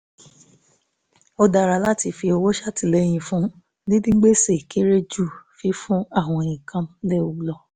ó dára láti fi owó ṣètìlẹyìn fún dídín gbèsè kéré ju fífún àwọn nǹkan léwu lọ